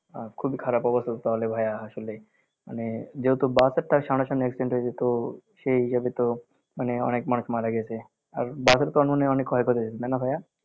আহ খুবই খারাপ অবস্থা তো তাহলে ভাইয়া আসলে মানে যেহেতু বাস আর ট্রাক সামনাসামনি accident হয়েছে তো সেই হিসেবে তো মানে অনেক মানুষ মারা গেছে, আর বাসের তো তখন অনেক মনে হয় ক্ষয় ক্ষতি হয়েছে, তাই না ভাইয়া